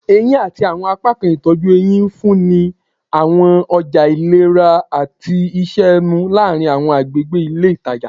Eyin ati awọn apakan itọju ehín nfunni awọn ọja ilera ati iṣẹ ẹnu laarin awọn agbegbe ile itaja